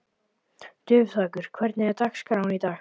Dufþakur, hvernig er dagskráin í dag?